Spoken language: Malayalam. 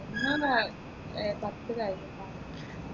ഉമ്മ ഏർ പത്തു കഴിഞ്ഞിട്ടാ